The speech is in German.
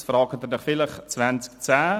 Nun werden Sie vielleicht fragen: